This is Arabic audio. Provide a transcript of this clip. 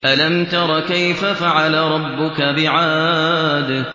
أَلَمْ تَرَ كَيْفَ فَعَلَ رَبُّكَ بِعَادٍ